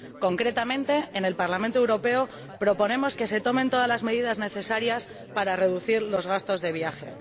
Concretamente, en el Parlamento Europeo proponemos que se tomen todas las medidas necesarias para reducir los gastos de viaje.